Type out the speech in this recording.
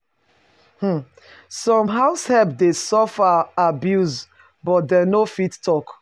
um Some househelp de suffer abuse but dem no fit talk